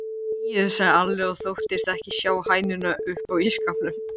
Þegiðu, sagði Alli og þóttist ekki sjá hænuna uppá ísskápnum.